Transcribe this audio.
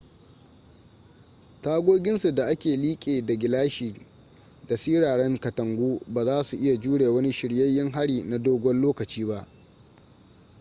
tagoginsa da ke liƙe da gilashi da siraran katangu ba za su iya jure wani shiryayyen hari na dogon lokaci ba